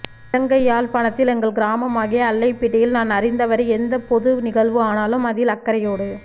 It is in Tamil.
இலங்கை யாழ்ப்பாணத்தில் எங்கள் கிராமமாகிய அல்லைப்பிட்டியில் நான் அறிந்தவரை எந்தப் பொது நிகழ்வு ஆனாலும் அதில் அக்கறையோடு